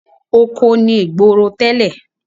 Oko ni ìgboro tẹ́lẹ̀.